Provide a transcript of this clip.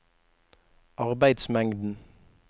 arbeidsmengden